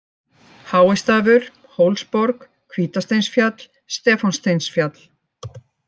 Háistafur, Hólsborg, Hvítasteinsfjall, Stefánssteinsfjall